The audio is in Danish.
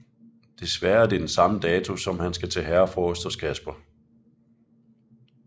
Desværre er det den samme dato som han skal til Herrefrokost hos Casper